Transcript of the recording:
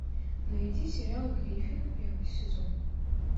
найди сериал гриффины первый сезон